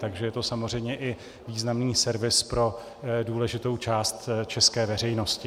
Takže je to samozřejmě i významný servis pro důležitou část české veřejnosti.